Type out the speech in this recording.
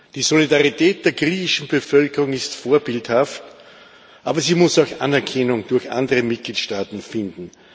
Die Solidarität der griechischen Bevölkerung ist vorbildhaft, aber sie muss auch Anerkennung durch andere Mitgliedstaaten finden.